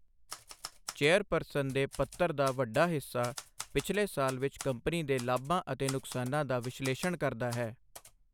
Chairperson ਦੇ ਪੱਤਰ ਦਾ ਵੱਡਾ ਹਿੱਸਾ ਪਿਛਲੇ ਸਾਲ ਵਿੱਚ ਕੰਪਨੀ ਦੇ ਲਾਭਾਂ ਅਤੇ ਨੁਕਸਾਨਾਂ ਦਾ ਵਿਸ਼ਲੇਸ਼ਣ ਕਰਦਾ ਹੈ।